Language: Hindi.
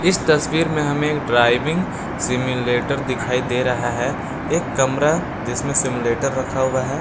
इस तस्वीर में हमें एक ड्राइविंग सिम्युलेटर दिखाई दे रहा है एक कमरा जिसमें सिम्युलेटर रखा हुआ है।